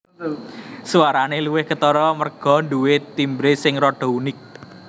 Swarane luwih ketara merga nduwe timbre sing rada unik